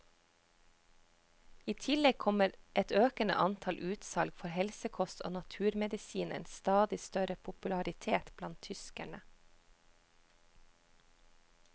I tillegg kommer et økende antall utsalg for helsekost og naturmedisinens stadig større popularitet blant tyskerne.